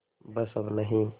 बस अब नहीं